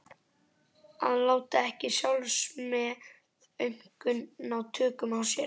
Að láta ekki sjálfsmeðaumkun ná tökum á sér.